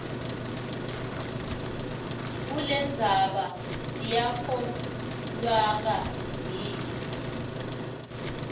kulendzaba tiyakholweka yini